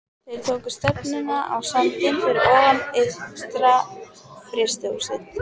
Þeir tóku stefnuna á sandinn fyrir ofan ytra-frystihúsið.